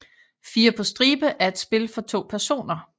Fire på stribe er et spil for to personer